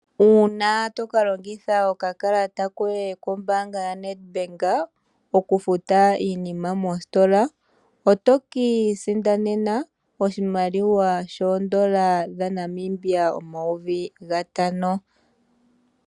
Uuna toka longitha oka kalata koye ko Nedbank oku futa iinima mositola, oto ka sindana oshimaliwa shoodolla dhaNamibia omayovi gatano.